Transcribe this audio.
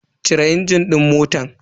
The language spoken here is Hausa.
Cire injin din motan.